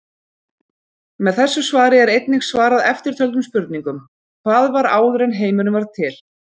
Með þessu svari er einnig svarað eftirtöldum spurningum: Hvað var áður en heimurinn varð til?